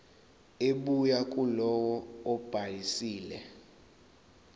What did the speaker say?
ebuya kulowo obhalisile